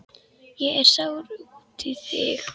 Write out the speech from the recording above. Ég er sár út í þig.